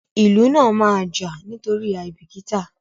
ilù náa máa jà nítorí aibikita.